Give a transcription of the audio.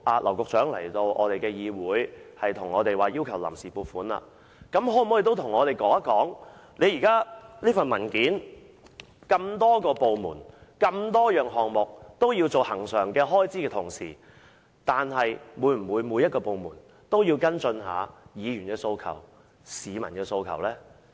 劉局長今天來到本會申請臨時撥款，他可否告訴我們，既然文件所述的多個部門的多項項目均有恆常開支，是否每個部門都會跟進議員和市民的訴求？